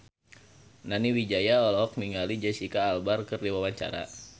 Nani Wijaya olohok ningali Jesicca Alba keur diwawancara